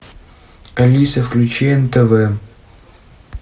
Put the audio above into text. алиса включи нтв